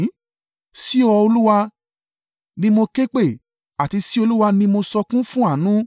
Sí ọ Olúwa, ni mo ké pè é; àti sí Olúwa ni mo sọkún fún àánú: